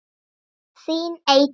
Þín Eydís.